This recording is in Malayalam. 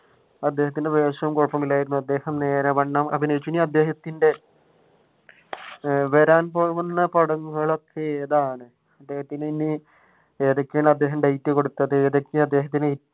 അദ്ദേഹത്തിന്റെ വേഷം കുഴപ്പമില്ലായിരുന്നു. അദ്ദേഹം നേരാവണ്ണം അഭിനയിച്ചു ഇനി അദ്ദേഹത്തിന്റെ വരാൻ പോകുന്ന പടങ്ങൾ ഒക്കെ ഏതാണ് അദ്ദേഹത്തിന് ഇനി ഏതൊക്കെയാണ് അദ്ദേഹം ഡേറ്റ് കൊടുത്തത് ഏതൊക്കെയാണ് അദ്ദേഹത്തിന്